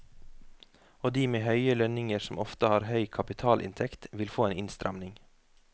Og de med høye lønninger som ofte har høy kapitalinntekt, vil få en innstramning.